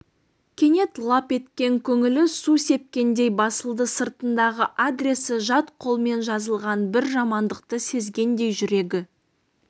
кенет лап еткен көңілі су сепкендей басылды сыртындағы адресі жат қолмен жазылған бір жамандықты сезгендей жүрегі